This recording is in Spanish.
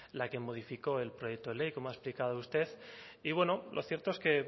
la que modificó el proyecto de ley como ha explicado usted y bueno lo cierto es que